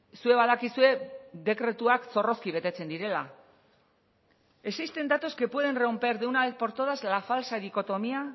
zuek badakizue dekretuak zorrozki betetzen direla existen datos que pueden romper de una vez por todas la falsa dicotomía